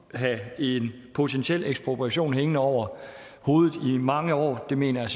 have en potentiel ekspropriation hængende over hovedet i mange år mener jeg